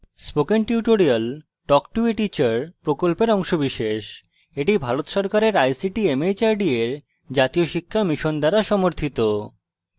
spoken tutorial talk to a teacher প্রকল্পের অংশবিশেষ এটি ভারত সরকারের ict mhrd এর জাতীয় শিক্ষা mission দ্বারা সমর্থিত